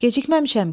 Gecikməmişəm ki?